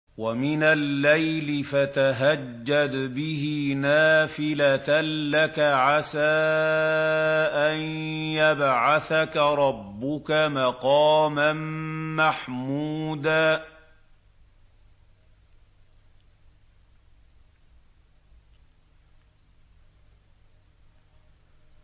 وَمِنَ اللَّيْلِ فَتَهَجَّدْ بِهِ نَافِلَةً لَّكَ عَسَىٰ أَن يَبْعَثَكَ رَبُّكَ مَقَامًا مَّحْمُودًا